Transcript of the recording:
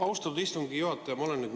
Austatud istungi juhataja!